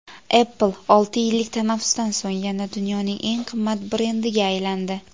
Apple olti yillik tanaffusdan so‘ng yana dunyoning eng qimmat brendiga aylandi.